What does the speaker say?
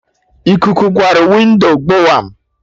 Ikuku kwarụ windo gbowam!